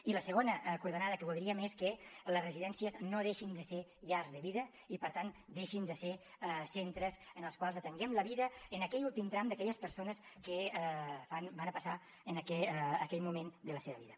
i la segona coordenada que voldríem és que les residències no deixin de ser llars de vida i per tant no deixin de ser centres en els quals atenguem la vida en aquell últim tram d’aquelles persones que van a passar aquell moment de la seva vida